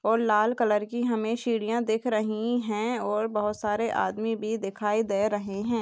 और लाल कलर की हमें सीढियां दिख रही हैं और बहुत सारे आदमी भी दिखाई दे रहे हैं।